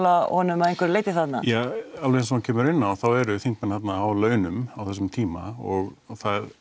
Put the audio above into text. honum að einhverju leyti þarna ja alveg eins og hann kemur inn á þá eru þingmenn þarna á launum á þessum tíma og það